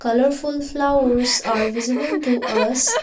colorful flowers are visible to us.